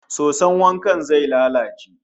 Soson wankan zai lalace